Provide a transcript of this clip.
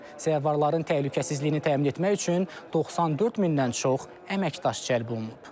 Zəvvarların təhlükəsizliyini təmin etmək üçün 94 mindən çox əməkdaş cəlb olunub.